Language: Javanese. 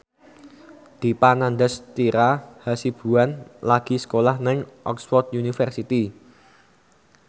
Dipa Nandastyra Hasibuan lagi sekolah nang Oxford university